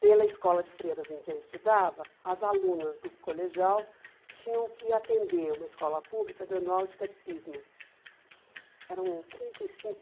Pela escola de freiras em que eu estudava, as alunas do colegial tinham que atender uma escola pública dando aula de catecismo. Eram trinta e cinco